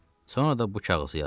Sonra da bu kağızı yazdı.